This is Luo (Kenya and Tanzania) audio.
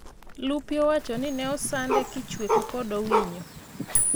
Lupio owacho ni ne osande kichwech kod Owinio